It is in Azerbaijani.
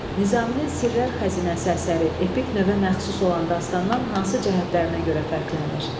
Nizaminin Sirlər Xəzinəsi əsəri epik növə məxsus olan dastandan hansı cəhətlərinə görə fərqlənir?